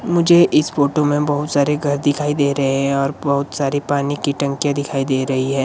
मुझे इस फोटो में बहुत सारे घर दिखाई दे रहे हैं और बहुत सारी पानी की टंकियां दिखाई दे रही है।